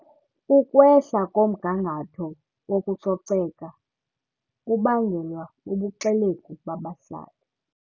Ukwehla komgangatho wokucoceka ubangelwa bubuxelegu babahlali.